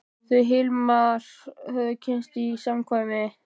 Þau Hilmar höfðu kynnst í samkvæmi.